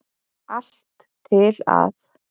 Allt til að